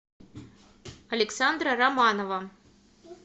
александра романова